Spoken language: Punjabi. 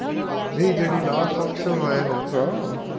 ਨਹੀਂ ਜੇੜੀ last option ਮੈਂ ਹੋਉਗਾ